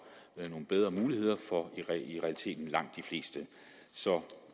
nogle bedre muligheder for i realiteten langt de fleste så